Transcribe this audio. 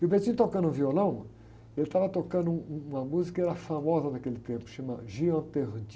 E o tocando violão, ele estava tocando um, uma música que era famosa naquele tempo, chama.